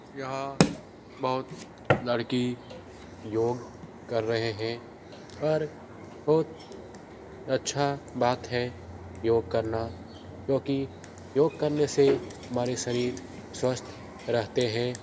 यहाँ बहुत लड़की योग कर रहे हैं पर बोहुत अच्छा बात है योग करना क्योंकि योग करने से हमारे शरीर स्वस्थ रहते हैं।